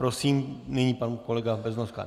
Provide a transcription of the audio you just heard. Prosím, nyní pan kolega Beznoska.